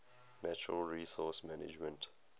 natural resource management